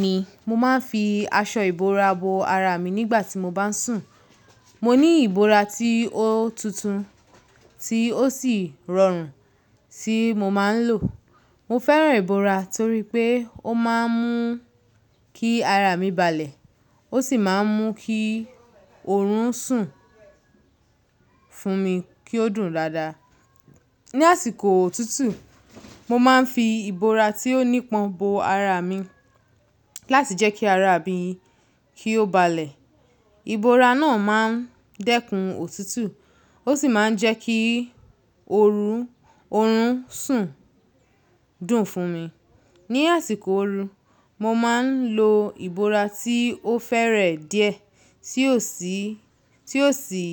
Bẹ́ẹ̀ni, mo máa ń fi aṣọ ìbora bo ara mi nígbà tí mo bá ń sùn. Mo ní ìbora tí ó tuntun tí ó sì rọrùn tí mo máa ń lò. Mo fẹ́ràn ìbora torí pé ó máa ń mú kí ara mi balẹ̀, ó sì máa ń mú kí oorun sùn fún mi kí ó dùn dáadáa. Ni àsìkò otútù, mo máa ń fi ìbora tí ó nípọn bo ara mi láti jẹ́ kí ara mi kí ó balẹ̀. Ìbora náà máa ń dẹ́kun òtútù, ó sì máa ń jẹ́ kí oorun, oorun sùn dùn fún mi. Ni àsìkò ooru, mo máa ń lo ìbora tí ó fẹ́rẹ̀ díẹ̀ tí ó sì, tí ó sì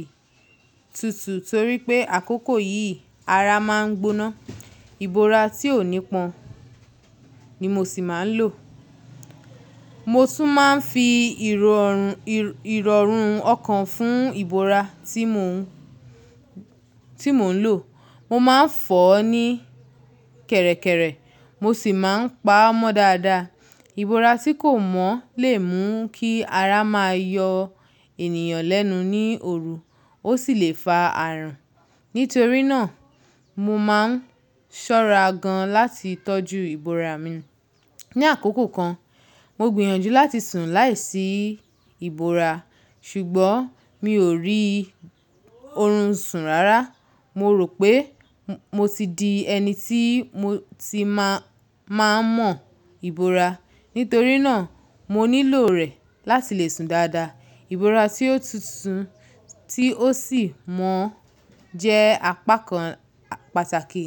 tutù torí pé àkókò yìí ara máa ń gbóná. Ìbora tí ò nípọn ni mo sì máa ń lò. Mo tún máa ń fi irọrun, irọrun ọkàn fún ìbora tí mò ń, tí mò ń lò. Mo máa ń fọ̀ ọ́ ní kẹ̀rẹ̀kẹ̀rẹ̀, mo sì máa ń pa á mọ́ dáadáa. Ìbora tí kò mọ́ lè mú kí ara máa yọ ènìyàn lẹ́nu ní ooru, ó sì lè fa àrùn. Nítorí náà, mo máa ń ṣọ́ra gan láti tọ́jú ìbora mi. Ni àkókò kan, mo gbìyànjú láti sùn láìsí ìbora, ṣùgbọ́n mi ò rí oorun sùn rárá. Mo rò pé mo ti di ẹni tí mo ti máa, máa mọ ìbora. Nítorí náà, mo nílò rẹ̀ láti le sùn dáadáa. Ìbora tí ó tuntun tí ó sì mọ́ jẹ́ apá kan pàtàkì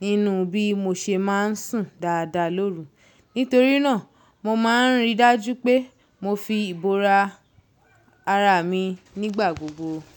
nínú bí mo ṣe máa ń sùn dáadáa lóru. Nítorí náà, mo máa ń rí i dájú pé mo fi ìbora ara mi nígbà gbogbo.